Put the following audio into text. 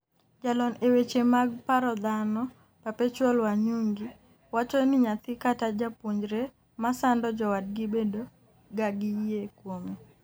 jalony e weche mag paro dhano, Perpetual Wanyugi wacho ni nyathi kata japuonjre ma sando jowadgi bedo ga gi yie kuome